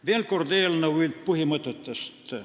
Veel kord eelnõu põhimõtetest.